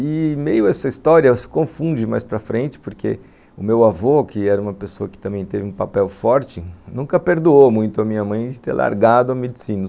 E meio essa história se confunde mais para frente, porque o meu avô, que era uma pessoa que também teve um papel forte, nunca perdoou muito a minha mãe de ter largado a medicina.